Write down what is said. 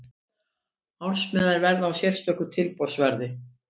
Ársmiðar verða á sérstöku tilboðsverði.